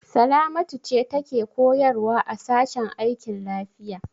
Salamatu ce take koyarwa a sashen aikin lafiya.